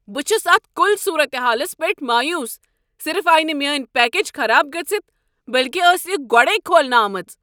بہٕ چھُس اتھ کُل صورت حالس پیٹھ مایوس۔ صرف آیہ نہٕ میٲنہِ پیکج خراب گٔژھتھ، بٔلكہِ ٲس یہ گۄڈٕیہ كھولنہٕ آمٕژ۔